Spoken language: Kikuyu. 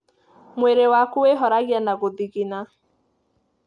Mwĩrĩ waku wĩhoragia na gũthigina.